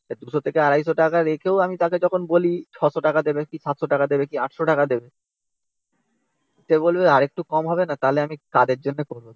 two hundred থেকে two hundred fifty টাকা রেখেও আমি তাকে যখন বলি six hundred টাকা দেবে কি seven hundred টাকা দেবে কি eight hundred টাকা দেবে। সে বলবে আরেকটু কম হবে না? তাহলে আমি কাদের জন্য করব?